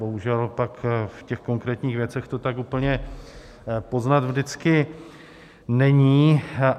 Bohužel pak v těch konkrétních věcech to tak úplně poznat vždycky není.